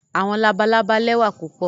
Àwọn làbàlábá lẹwà pupọ